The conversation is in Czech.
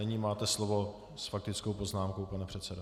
Nyní máte slovo s faktickou poznámkou, pane předsedo.